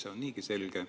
Asi on niigi selge.